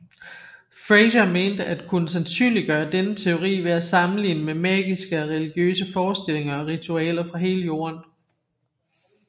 Frazer mente at kunne sandsynliggøre denne teori ved at sammenligne med magiske og religiøse forestillinger og ritualer fra hele jorden